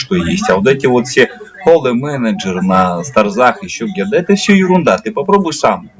что есть а вот эти вот все поло менеджеры на старзах ещё где-то это все ерунда ты попробуй сам